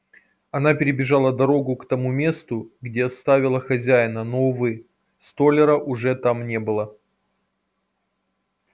она перебежала дорогу к тому месту где оставила хозяина но увы столяра уже там не было